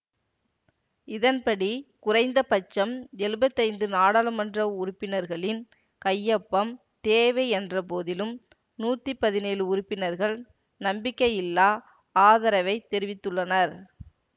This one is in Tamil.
இதன்படி குறைந்தபட்சம் எழுபெத்தி ஐந்து நாடாளுமன்ற உறுப்பினர்களின் கையொப்பம் தேவை என்ற போதிலும் நூத்தி பதினேழு உறுப்பினர்கள் நம்பிக்கையில்லா ஆதரவை தெரிவித்துள்ளனர்